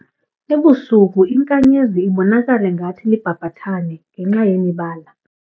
Ebusuku inkanyezi ibonakala ngathi libhabhathane ngenxa yemibala.